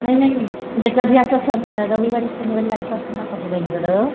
नाही नाही म्हणजे कधी असं सण रविवारी शनिवारी सासूबाईंकडं